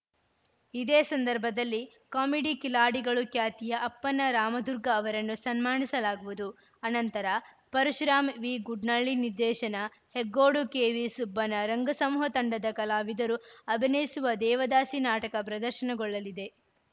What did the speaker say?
ಇದೇ ಸಂದರ್ಭದಲ್ಲಿ ಕಾಮಿಡಿ ಕಿಲಾಡಿಗಳು ಖ್ಯಾತಿಯ ಅಪ್ಪಣ್ಣ ರಾಮದುರ್ಗ ಅವರನ್ನು ಸನ್ಮಾನಿಸಲಾಗುವುದು ಅನಂತರ ಪರಶುರಾಮ್ ವಿಗುಡ್ಲಳ್ಳಿ ನಿರ್ದೇಶನ ಹೆಗ್ಗೋಡು ಕೆವಿ ಸುಬ್ಬಣ್ಣ ರಂಗಸಮೂಹ ತಂಡದ ಕಲಾವಿದರು ಅಭಿನಯಿಸುವ ದೇವದಾಸಿ ನಾಟಕ ಪ್ರದರ್ಶನಗೊಳ್ಳಲಿದೆ